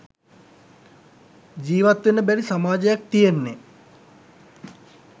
ජීවත්වෙන්න බැරි සමාජයක් තියෙන්නෙ